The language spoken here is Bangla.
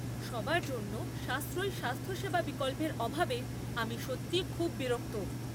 সবার জন্য সাশ্রয়ী স্বাস্থ্যসেবা বিকল্পের অভাবে আমি সত্যিই খুব বিরক্ত।